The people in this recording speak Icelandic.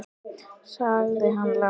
sagði hann lágt.